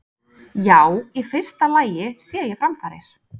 Já, í fyrsta lagi sé ég framfarir.